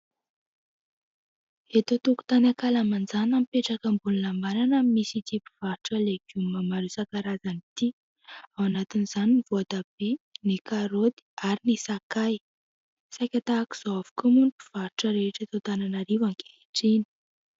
Eto an-tokotany ankalamanjana mipetraka ambony lambanana no misy ity mpivarotra legioma maro isan-karazany ity, ao anatin'izany ny voatabia, ny karoty ary ny sakay. Saika tahaka izao avokoa moa ny mpivarotra rehetra eto Antananarivo ankehitriny.